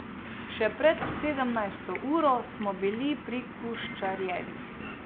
Še pred sedemnajsto uro smo bili pri Kuščarjevih.